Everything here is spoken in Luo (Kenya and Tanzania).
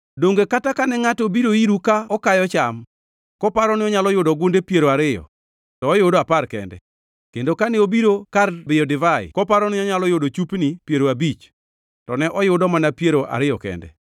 Donge kata kane ngʼato obiro iru ka ukayo cham koparo ni onyalo yudo ogunde piero ariyo, to oyudo apar kende? Kendo kane obiro kar biyo divai, koparo ni onyalo yudo chupni piero abich, to ne oyudo mana piero ariyo kende.